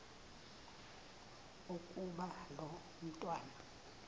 ukuba lo mntwana